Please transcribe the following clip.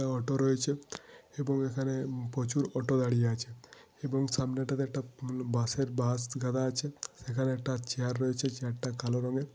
এবং অটো রয়েছে। এবং এখানে প্রচুর অটো দাঁড়িয়ে আছে। এবং সামনেটাতে একটা বাসের মম বাস গাদা আছে। এখানে একটা চেয়ার রয়েছে। চেয়ারটা কালো রঙের।